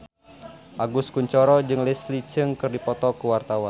Agus Kuncoro jeung Leslie Cheung keur dipoto ku wartawan